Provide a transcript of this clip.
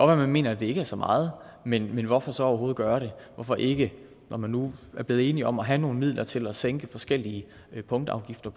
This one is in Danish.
at man mener at det ikke er så meget men hvorfor så overhovedet gøre det hvorfor ikke når man nu er blevet enige om at have nogle midler til at sænke forskellige punktafgifter